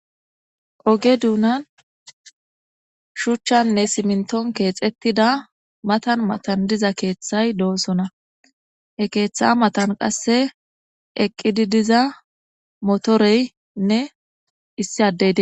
oge duunan shuchchanne siminton keexettida matan matan diza keeththay doosona ekeeththa matan qasse eqqidi diza motoreynne issi adei